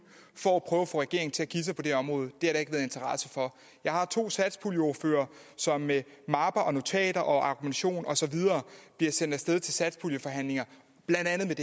for at få regeringen til at give sig på det område det har der ikke været interesse for jeg har to satspuljeordførere som med mapper og notater og argumentation og så videre bliver sendt af sted til satspuljeforhandlinger blandt andet